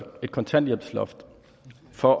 for